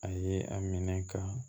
A ye a minɛ ka